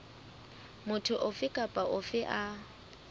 motho ofe kapa ofe a